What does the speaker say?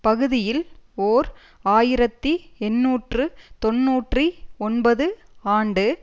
பகுதியில் ஓர் ஆயிரத்தி எண்ணூற்று தொன்னூற்றி ஒன்பது ஆண்டு